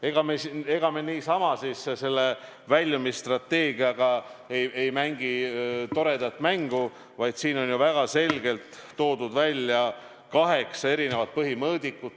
Ega me siis niisama selle väljumisstrateegiaga ei mängi toredat mängu, vaid siin on ju väga selgelt toodud välja kaheksa põhimõõdikut.